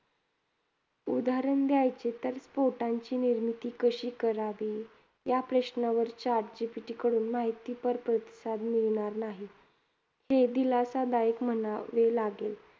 उदाहरण द्यायचे तर, पोटांची निर्मिती कशी करावी? या प्रश्नावर chat GTP कडून माहितीपर प्रतिसाद मिळणार नाही. हे दिलासादायक म्हणावे लागेल.